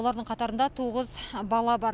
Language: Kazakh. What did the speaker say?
олардың қатарында тоғыз бала бар